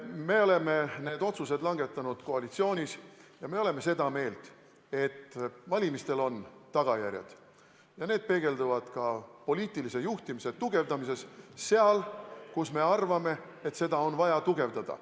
Me oleme need otsused langetanud koalitsioonis ja me oleme seda meelt, et valimistel on tagajärjed ja need peegelduvad ka poliitilise juhtimise tugevdamises – seal, kus me arvame, et seda on vaja tugevdada.